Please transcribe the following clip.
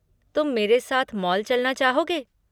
तुम मेरे साथ मॉल चलना चाहोगे?